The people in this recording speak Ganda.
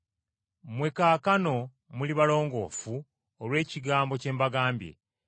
Mmwe kaakano muli balongoofu olw’ekigambo kye mbagambye;